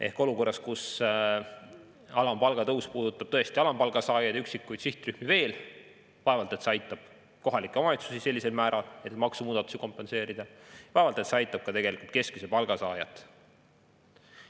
Ehk olukorras, kus alampalga tõus puudutab tõesti alampalga saajaid, üksikuid sihtrühmi veel, vaevalt et see aitab kohalikke omavalitsusi sellisel määral, et maksumuudatusi kompenseerida, vaevalt et see aitab ka keskmise palga saajat.